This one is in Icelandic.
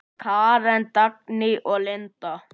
Karen, Dagný og Linda.